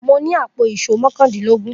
Mo ní àpò ìṣó mọ́kàndînlógún.